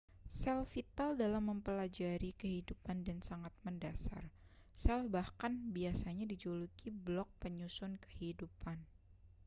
sel vital dalam mempelajari kehidupan dan sangat mendasar sel bahkan biasanya dijuluki blok penyusun kehidupan